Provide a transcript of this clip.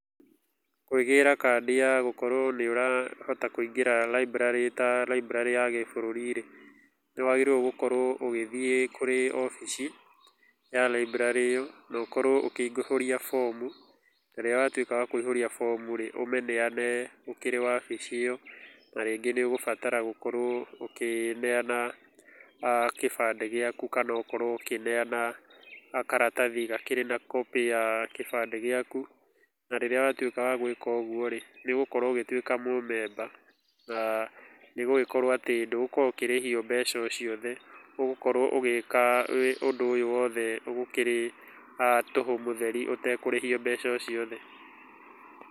Kwĩgĩra kandi ya gũkorwo nĩ ũrahota kũingĩra library ta library ya gĩ bũrũri rĩ, nĩ wagĩrĩirwo gũkorwo ũgĩthiĩ kũrĩ wabici ya library ĩyo na ũkorwo ũkĩihũria bomu, rĩrĩa watuĩka wa kũihũria bomu rĩ, ũmĩneane ũkĩrĩ wabici ĩyo na rĩngĩ nĩ ũgũbatara gũkorwo ũkĩneana gĩbande gĩaku kana ũkorwo ũkĩneana karatathi gakĩrĩ na copy ya gĩbande gĩaku. Na rĩrĩa watuĩka wa gwĩka ũguo rĩ, nĩ ũgũkorwo rĩ, nĩ ũgũkorwo ũgĩtuĩka mũmemba, na nĩ ũgũgĩkorwo atĩ ndũgũkorwo ũkĩrĩhio mbeca o ciothe. Ũgũkorwo ũgĩka ũndũ ũyũ wothe ũkĩrĩ tũhũ mũtheri ũtekũrĩhio mbeca o ciothe.,